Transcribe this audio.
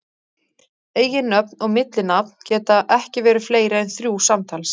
Eiginnöfn og millinafn geta ekki verið fleiri en þrjú samtals.